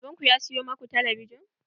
Baban ku ya siyo maku talabijin?